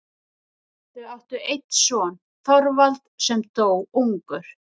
Þau áttu einn son, Þorvald, sem dó ungur.